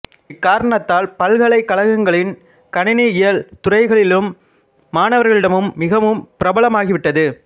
இக்காரணத்தால் பல்கலை கழகங்களின் கணினி இயல் துறைகளிலும் மாணவர்களிடமும் மிகவும் பிரபலமாகிவிட்டது